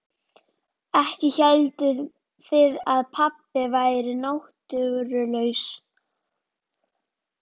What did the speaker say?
Ekki hélduð þið að pabbi væri náttúrulaus?